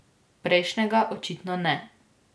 Prejšnjega očitno ne.